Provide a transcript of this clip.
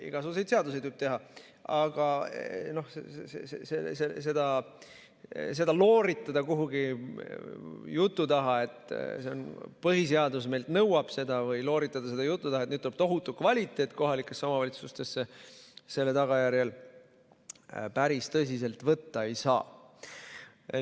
Igasuguseid seadusi tuleb teha, aga looritada seda jutu taha, et põhiseadus meilt seda nõuab, või looritada seda jutu taha, et nüüd tuleb tohutu kvaliteet kohalikesse omavalitsustesse selle tagajärjel, seda päris tõsiselt võtta ei saa.